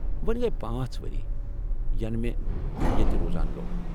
وونۍ لَگہِ پانژھ وری ، ینہٕ مے٘ یتہِ روزان گو٘و ۔